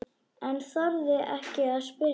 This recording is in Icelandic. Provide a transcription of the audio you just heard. En þorði ekki að spyrja.